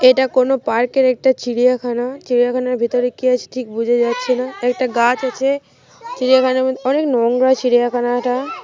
এটা কোন পার্কের একটা চিড়িয়াখানা। চিড়িয়াখানার ভিতরে কি আছে ঠিক বোঝা যাচ্ছে না। একটা গাছ আছে। অনেক নোংরা চিড়িয়াখানাটা।